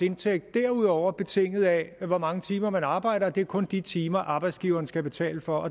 indtægt derudover betinget af hvor mange timer man arbejder og det er kun de timer arbejdsgiveren skal betale for